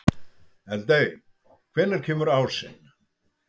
Eldey, hvenær kemur ásinn?